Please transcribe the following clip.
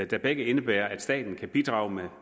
der begge indebærer at staten kan bidrage